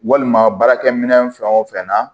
Walima baarakɛ minɛn fɛn o fɛn na